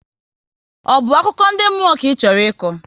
Ọ bụ akụkọ ndị mmụọ ka Ị chọrọ ịkọ?